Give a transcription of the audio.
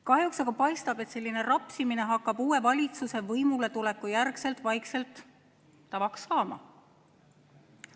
Kahjuks aga paistab, et selline rapsimine hakkab uue valitsuse võimule tuleku järgselt vaikselt tavaks saama.